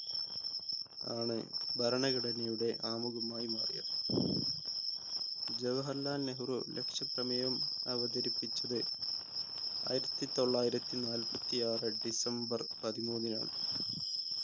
ആണ് ഭരണഘടനയുടെ ആമുഖമായി മാറിയത് ജവഹർലാൽ നെഹ്‌റു ലക്ഷ്യപ്രമേയം അവതരിപ്പിച്ചത് ആയിരത്തി തൊള്ളയിരത്തി നാല്പത്തി ആറ് ഡിസംബർ പതിമൂന്നിനാണ്